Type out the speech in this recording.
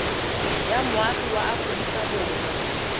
wa moagi wa aforika borwa